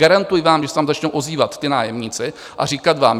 Garantuji vám, když se vám začnou ozývat ti nájemníci a říkat vám: